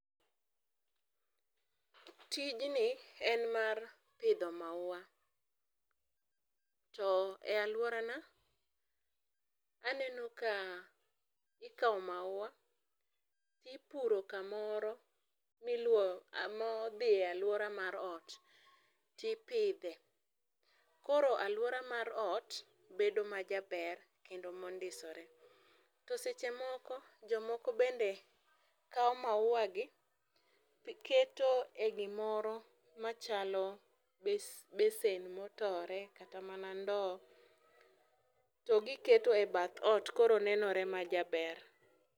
Tijni en mar pidho maua. To e alworana, aneno ka ikawo maua, ipuro kamoro modhi e alwora mar ot, tipidhe. Koro alwora mar ot bedo majaber kendo mondisore. To seche moko, jomoko bende kawo maua gi, keto e gimoro machalo besen motore kata mana ndoo to giketo e bath ot koro nenore majaber.